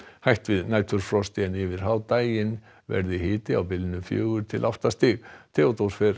hætt við næturfrosti en yfir hádaginn verður hiti á bilinu fjögur til átta stig Theodór Freyr